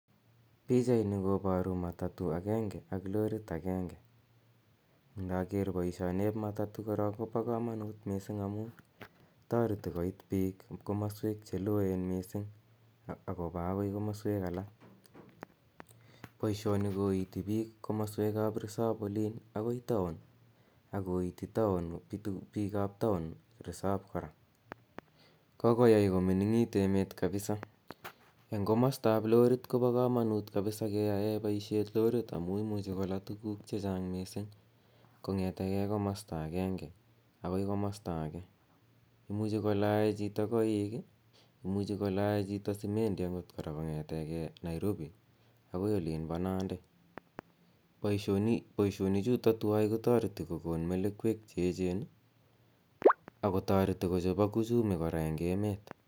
Pichaini koparu matatu agenge ak lorit agenge. Inaker poishenep matatu ko pa kamanut missing' amu tareti koit pik komaswek che loen missing' ak kopa akoi komaswek alak. Poishoni koiti pik komaswek ap resop olin akoi taon ak koiti pikap taon resop kora. Kokoyai ko mining'it emet kapisa. Komastap lorit ko pa kamanut keyae poishet lorit amu imuchi kola tuguk che chang' missing' kong; ete gei komasta agenge akoi komasta age. Imuchi kolae chito koik i, imuchi kolae chito simendi akot kpora kong'ete gei Nairobi akoi olin pa Nandi. Poishonichutok tuwai kotareti kokon melekwek che echen ak kotareti kochopak uchumi kora eng' emet.